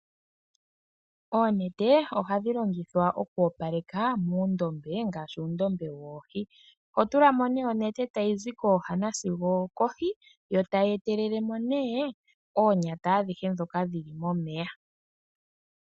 Oonete ohadhi longithwa oku opaleka muundombe ngaashi uundombe woohi. Oho tula mo nee onete tayi zi kooha nasigo okohi yo tayi etelele mo nee oonyata adhihe ndhoka dhi li momeya.